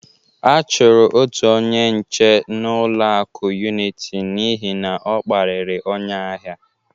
A chọrọ otu onye nche ụlọaku Uniti n'ihi na ọ kparịrị onye ahia.